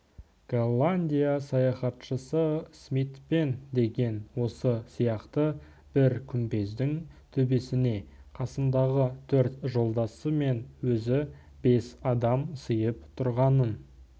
голландия саяхатшысы смитпен деген осы сияқты бір күмбездің төбесіне қасындағы төрт жолдасы мен өзі бес адам сыйып тұрғанын